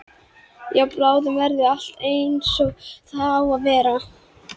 Já, bráðum verður allt einsog það á að vera.